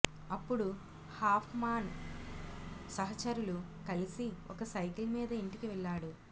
అప్పుడు హాఫ్మాన్ సహచరులు కలిసి ఒక సైకిల్ మీద ఇంటికి వెళ్ళాడు